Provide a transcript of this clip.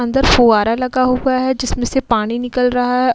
अंदर फुंवारा लगा हुआ है जिसमें से पानी निकल रहा हैं।